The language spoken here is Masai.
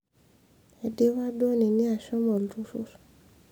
eidipa duo nini ashomo oltururr